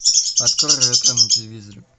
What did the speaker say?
открой ретро на телевизоре